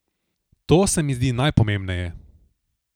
To se mi zdi najpomembneje.